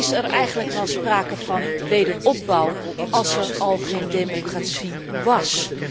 Is er eigenlijk wel sprake van wederopbouw, als er al geen democratie was?